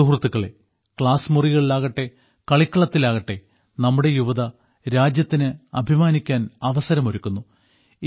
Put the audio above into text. സുഹൃത്തുക്കളേ ക്ലാസ്മുറികളിലാകട്ടെ കളിക്കളത്തിലാകട്ടെ നമ്മുടെ യുവത രാജ്യത്തിന് അഭിമാനിക്കാൻ അവസരമൊരുക്കുന്നു